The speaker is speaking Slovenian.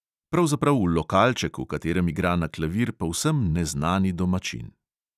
Pravzaprav v lokalček, v katerem igra na klavir povsem neznani domačin.